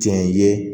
Tiɲɛ ye